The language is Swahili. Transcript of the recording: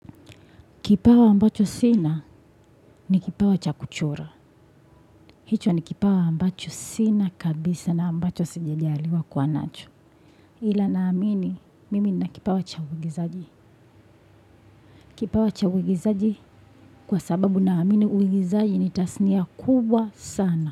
Kipawa ambacho sina ni kipawa cha kuchora. Hicho ni kipawa ambacho sina kabisa na ambacho sijajaliwa kuwa nacho. Ila naamini mimi nina kipawa cha uigizaji. Kipawa cha uigizaji kwa sababu naamini uigizaji ni tasnia kubwa sana.